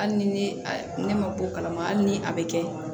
Hali ni ne ma bɔ o kalama hali ni a be kɛ